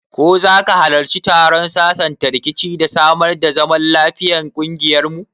Ko zaka hallarci taron sasanta rikici da samar da zaman lafiyan kungiyar mu?